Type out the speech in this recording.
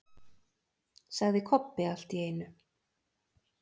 sagði Kobbi allt í einu.